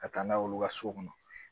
Ka taa n'a ye olu ka so kɔnɔ